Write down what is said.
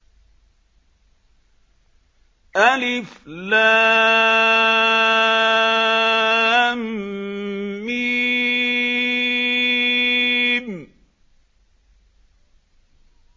الم